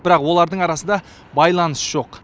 бірақ олардың арасында байланыс жоқ